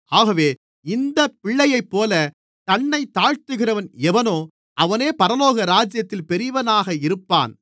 ஆகவே இந்தப் பிள்ளையைப்போலத் தன்னைத் தாழ்த்துகிறவன் எவனோ அவனே பரலோகராஜ்யத்தில் பெரியவனாக இருப்பான்